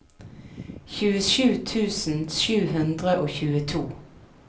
tjuesju tusen sju hundre og tjueto